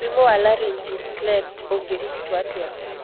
Mũrimũ wa laryngeal cleft ũngĩrigitũo atĩa?